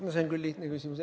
No see on küll lihtne küsimus.